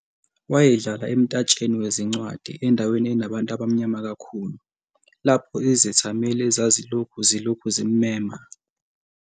Wayedlala emtatsheni wezincwadi endaweni enabantu abamnyama kakhulu, lapho izethameli ezazilokhu zilokhu zimmema.